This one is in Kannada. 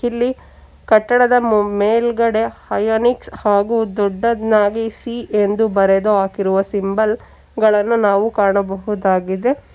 ಇಲ್ಲಿ ಕಟ್ಟಡದ ಮು ಮೇಲ್ಗಡೆ ಅಯೋನಿಕ್ಸ್ ಹಾಗು ದೊಡ್ಡದಾಗಿ ಸಿ ಎಂದು ಬರೆದು ಹಾಕಿರುವ ಸಿಂಬಲ್ ಗಳನ್ನು ನಾವು ಕಾಣಬಹುದಾಗಿದೆ.